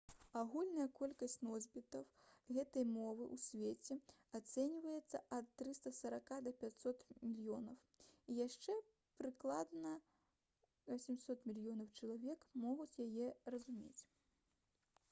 агульная колькасць носьбітаў гэтай мовы ў свеце ацэньваецца ад 340 да 500 мільёнаў і яшчэ прыкладна 800 мільёнаў чалавек могуць яе разумець